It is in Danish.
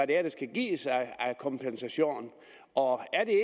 det er der skal gives af kompensation og er det